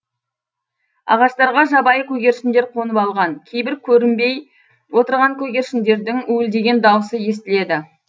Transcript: ағаштарға жабайы көгершіндер қонып алған кейбір көрінбей отырған көгершіндердің уілдеген дауысы естіледі